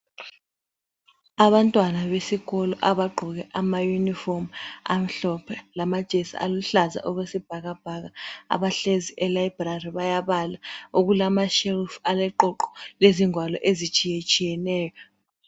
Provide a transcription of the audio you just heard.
Abantwana besikolo abagqoke amayunifomu amhlophe lamajesi aluhlaza okwesibhakabhaka abahlezi e-library bayabala. Okulama shelf aleqoqo lezingwalo ezitshiyetshiyeneyo.